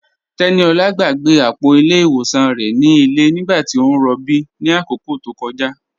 Teníolá gbàgbé apọ̀ ilẹ̀ iwọsàn rẹ̀ ni ilẹ̀ nígbàtí o n rọ̀bí ni akókó tó kọja.